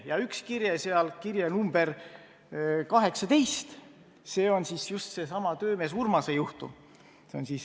Ja üks kirje – kirje nr 18 – on just sellesama töömees Urmase juhtumi jaoks.